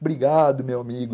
Obrigado, meu amigo.